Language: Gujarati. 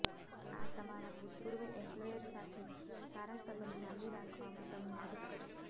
આ તમારા ભૂતપૂર્વ એમ્પ્લોયર સાથે સારા સંબંધ જાળવી રાખવામાં તમને મદદ કરશે